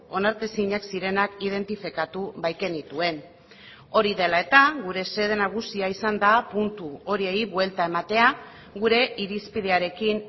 onartezinak zirenak identifikatu baikenituen hori dela eta gure xede nagusia izan da puntu horiei buelta ematea gure irizpidearekin